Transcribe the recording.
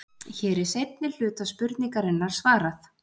Hér er seinni hluta spurningarinnar svarað.